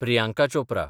Priyanka Chopra